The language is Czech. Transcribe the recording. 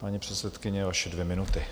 Paní předsedkyně, vaše dvě minuty.